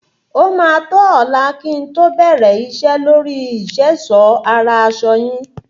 Ó maa tó ọlá kí n to be iṣẹ́ lóríi ìṣèṣọ́ ara aṣọ yín.